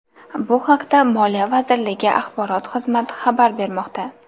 Bu haqda moliya vazirligi axborot xizmati xabar bermoqda .